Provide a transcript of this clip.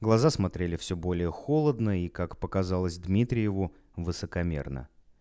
глаза смотрели все более холодно и как показалось дмитриеву высокомерно